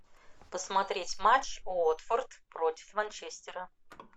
посмотреть матч уотфорд против манчестера